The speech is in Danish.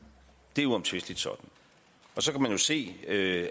det er uomtvisteligt sådan så kan man jo se af